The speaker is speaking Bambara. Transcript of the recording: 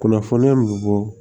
Kunnafoniya mun bɔ